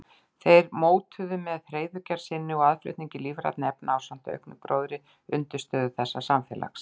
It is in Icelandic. Þeir mótuðu með hreiðurgerð sinni og aðflutningi lífrænna efna ásamt auknum gróðri undirstöðu þessa samfélags.